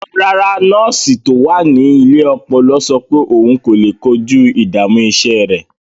Rárá, nọ́ọ̀sì tó wà ní ilé ọpọlọ sọ pé òun kò lè kojú ìdààmú iṣẹ́ rẹ̀.